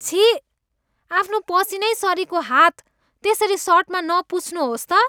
छिः। आफ्नो पसिनैसरिको हात त्यसरी सर्टमा नपुछ्नुहोस् त।